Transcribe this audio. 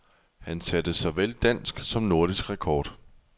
Han satte såvel dansk som nordisk rekord.